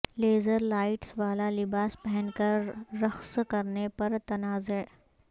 laser lights والا لباس پہن کر رقص کرنے پر تنازع